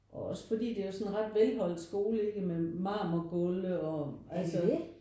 Og også fordi det er jo sådan en ret velholdt skole ikke? Med mamorgulve altså